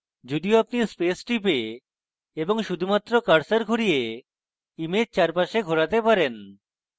যদিও আপনি space টিপে এবং শুধুমাত্র cursor ঘুরিয়ে image চারপাশে ঘোরাতে পারি